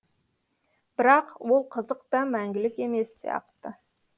бірақ ол қызық та мәңгілік емес сияқты